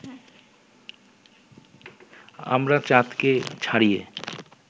আমরা চাঁদকে ছাড়িয়ে